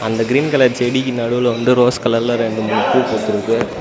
அந்த green colour செடிக்கு நடுவுல வந்து ரோஸ் கலர்ல ரெண்டு மூணு பூ பூத்துருக்கு.